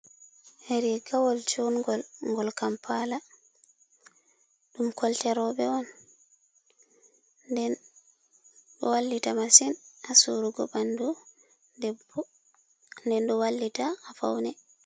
hri gawol congol gol kampala dum kolterobe on do wallita masin a surugo bandu bde do wallita a faune